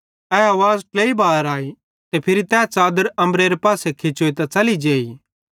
ए आवाज़ ट्लेई बार आई ते फिरी तै च़ादर अम्बरेरे पासे खिचोइतां च़ली जेई